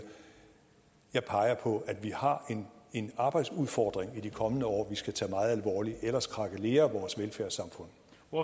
jeg peger på at vi har en arbejdsudfordring i de kommende år vi skal tage meget alvorligt ellers krakelerer vores velfærdssamfund